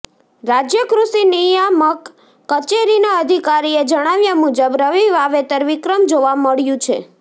રાજય કૃષિ નિયામક કચેરીના અધિકારીએ જણાવ્યા મુજબ રવી વાવેતર વિક્રમ જોવા મળયું છે